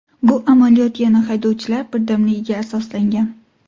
Bu amaliyot, yana haydovchilar birdamligiga asoslangan.